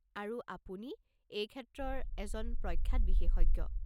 আৰু, আপুনি এই ক্ষেত্ৰৰ এজন প্ৰখ্যাত বিশেষজ্ঞ।